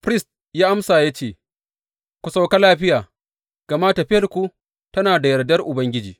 Firist ya amsa ya ce, Ku sauka lafiya, gama tafiyarku tana da yardan Ubangiji.